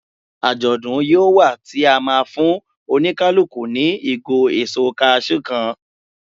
Ajodun yíò wá ti a ma fún oníkálukú ni igo èso cashew kan